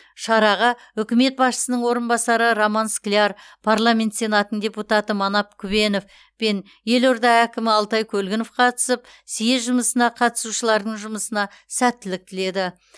шараға үкімет басшысының орынбасары роман скляр парламент сенатының депутаты манап күбенов пен елорда әкімі алтай көлгінов қатысып съезд жұмысына қатысушылардың жұмысына сәттілік тіледі